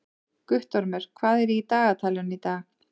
Guttormur, hvað er í dagatalinu í dag?